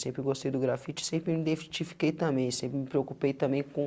Sempre eu gostei do grafite, sempre me identifiquei também, sempre me preocupei também com